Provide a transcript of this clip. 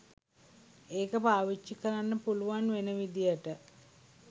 ඒක පාවිච්චි කරන්න පුළුවන් වෙන විදියට